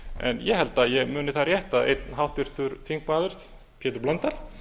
en ég held að ég muni það rétt að einn háttvirtur þingmaður pétur blöndal